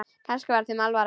Kannski var þeim alvara.